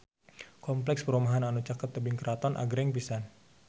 Kompleks perumahan anu caket Tebing Keraton agreng pisan